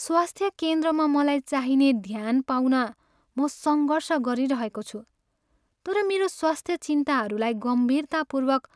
स्वास्थ्य केन्द्रमा मलाई चाहिने ध्यान पाउन म सङ्घर्ष गरिरहेको छु तर मेरो स्वास्थ्य चिन्ताहरूलाई गम्भीरतापूर्वक